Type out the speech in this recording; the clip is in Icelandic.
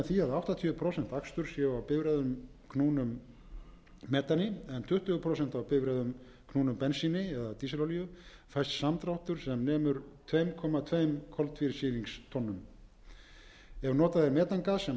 áttatíu prósent aksturs séu á bifreiðum eknum metani en tuttugu prósent á bifreiðum knúnum bensíni eða dísilolíu fæst samdráttur sem nemur tveimur komma tvö co tveimur tonnum ef notað er metangas sem